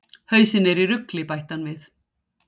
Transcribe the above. Hausinn er í rugli! bætti hann við.